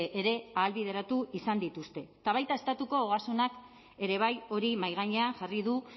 ere ahalbideratu izan dituzte eta baita estatuko ogasunak ere bai hori mahai gainean jarri du